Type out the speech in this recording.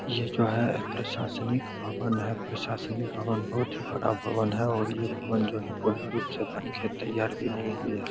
यह जो है प्रशासनिक भवन है प्रशासनिक भवन बहुत ही बड़ा भवन है और ये भवन जो है पूर्ण रूप से बनकर तैयार भी नहीं हुई है।